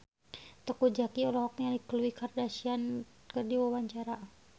Teuku Zacky olohok ningali Khloe Kardashian keur diwawancara